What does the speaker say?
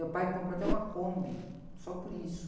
Meu pai comprou até uma Kombi, só por isso.